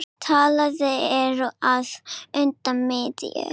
Talið er að undir miðju